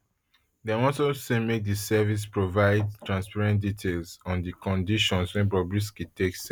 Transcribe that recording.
dem also say make di service provide transparent details on di conditions wey bobrisky take serve